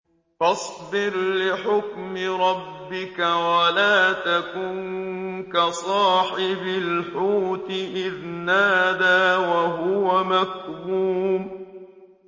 فَاصْبِرْ لِحُكْمِ رَبِّكَ وَلَا تَكُن كَصَاحِبِ الْحُوتِ إِذْ نَادَىٰ وَهُوَ مَكْظُومٌ